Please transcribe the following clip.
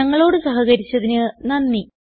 ഞങ്ങളോട് സഹകരിച്ചതിന് നന്ദി